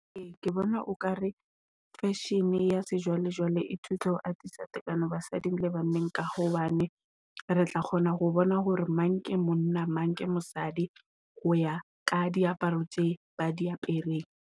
Ee ke bona, o ka re fashion-e ya sejwalejwale e thusa ho atisa tekano basading le banneng. Ka hobane re tla kgona ho bona hore mang ke monna mang ke mosadi ho ya ka diaparo tse ba di apereng.